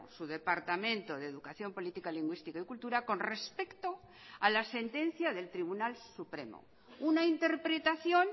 su departamento de educación política lingüística y cultura con respecto a la sentencia del tribunal supremo una interpretación